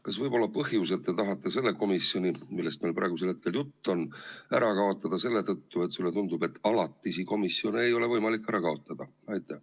Kas põhjus, miks te tahate selle komisjoni, millest meil praegusel hetkel jutt on, ära kaotada, võib olla see, et sulle tundub, et alatisi komisjone ei ole võimalik ära kaotada?